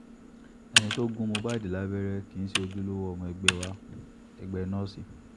ẹni tó gún mohbad lábẹ́rẹ́ kì í ṣe ojúlówó ọmọ ẹgbẹ́ wa- ẹgbẹ́ nọ́ọ̀sì